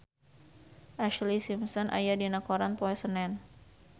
Ashlee Simpson aya dina koran poe Senen